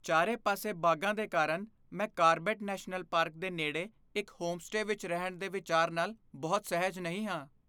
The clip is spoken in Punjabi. ਚਾਰੇ ਪਾਸੇ ਬਾਘਾਂ ਦੇ ਕਾਰਨ ਮੈਂ ਕਾਰਬੇਟ ਨੈਸ਼ਨਲ ਪਾਰਕ ਦੇ ਨੇੜੇ ਇੱਕ ਹੋਮਸਟੇ ਵਿੱਚ ਰਹਿਣ ਦੇ ਵਿਚਾਰ ਨਾਲ ਬਹੁਤ ਸਹਿਜ ਨਹੀਂ ਹਾਂ।